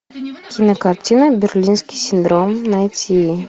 кинокартина берлинский синдром найти